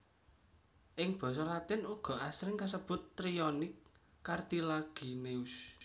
Ing basa latin uga asring kasebut Trionyx cartilagineus